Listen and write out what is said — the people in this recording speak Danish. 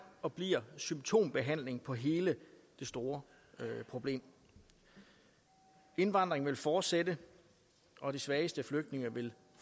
og bliver symptombehandling på hele det store problem indvandringen vil fortsætte og de svageste flygtninge vil